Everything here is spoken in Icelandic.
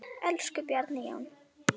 Elsku Bjarni Jón.